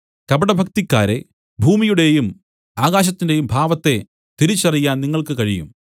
കപടഭക്തിക്കാരേ ഭൂമിയുടെയും ആകാശത്തിന്റെയും ഭാവത്തെ തിരിച്ചറിയാൻ നിങ്ങൾക്ക് കഴിയും